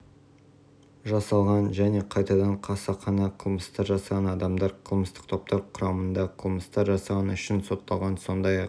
жасалған және қайтадан қасақана қылмыстар жасаған адамдар қылмыстық топтар құрамында қылмыстар жасағаны үшін сотталған сондай-ақ